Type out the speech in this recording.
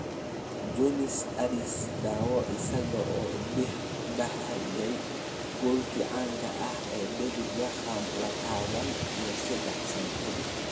Jonny Addis: Daawo isaga oo dhaliyay goolkii caanka ahaa ee David Beckham labataan iyo sedex sano kadib